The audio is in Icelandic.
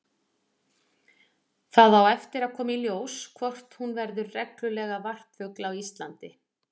Það á eftir að koma í ljós hvort hún verður reglulegur varpfugl á Íslandi.